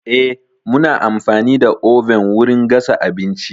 Eh, muna amfani da oven wurin gasa abinci.